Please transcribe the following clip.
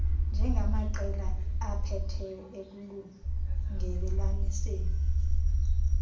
njengamaqela aphetheyo ekulungelelaniseni